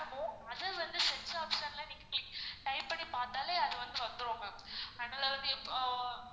அது வந்து search option ல நீங்க type பண்ணி பாத்தாலே அது வந்து வந்துரும் ma'am அதனால வந்து இப்போ